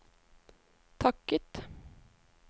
takket